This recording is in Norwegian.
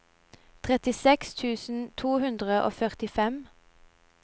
trettiseks tusen to hundre og førtifem